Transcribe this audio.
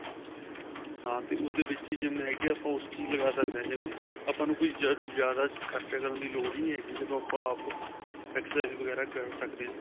ਹਾਂ ਤੇ ਉਸ ਦੇ ਵਿੱਚ ਹੀ GYM ਹੈਗੀ ਆ ਆਪਾਂ ਉਸ ਚ ਲਗਾ ਸਕਦੇ ਹਾਂ GYM ਆਪਾਂ ਨੂੰ ਕੋਈ ਜਿਆਦਾ ਖਰਚਾ ਕਰਨ ਦੀ ਲੋੜ ਹੀ ਨਹੀਂ ਹੈਗੀ ਜਦੋਂ ਆਪਾਂ ਆਪ exercise ਵਗੈਰਾ ਕਰ ਸਕਦੇ ਹਾਂ